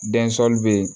be yen